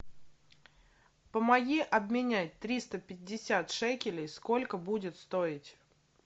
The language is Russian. помоги обменять триста пятьдесят шекелей сколько будет стоить